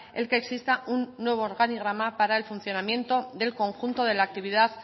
el que exista un nuevo organigrama para el funcionamiento del conjunto de la actividad